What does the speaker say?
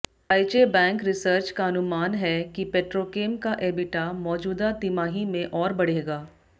Deutsche bank research का अनुमान है कि पेट्रोकेम का एबिटा मौजूदा तिमाही में और बढ़ेगा